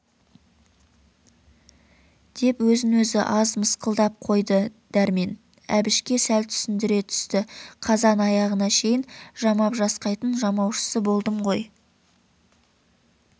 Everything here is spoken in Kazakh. деп өзін-өзі аз мысқылдап қойды дәрмен әбішке сәл түсіндіре түсті қазан-аяғына шейін жамап-жасқайтын жамаушысы болдым ғой